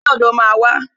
Ẹgbẹ́ ọ̀dọ̀ máa wà